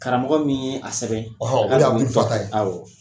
Karamɔgɔ min ye a sɛbɛn